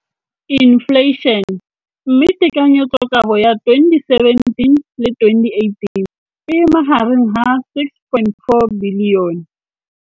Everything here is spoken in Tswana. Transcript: Infleišene, mme tekanyetsokabo ya 2017 le 2018 e magareng ga 6.4 bilione.